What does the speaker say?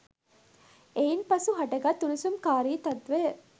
එයින් පසු හටගත් උණුසුම්කාරී තත්වය